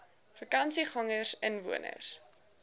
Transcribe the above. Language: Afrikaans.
vakansiegangersinwoners